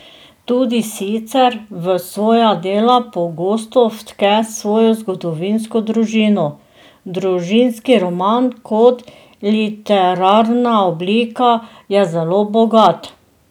Tudi sicer v svoja dela pogosto vtke svojo zgodovinsko družino: "Družinski roman kot literarna oblika je zelo bogat.